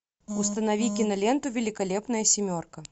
установи киноленту великолепная семерка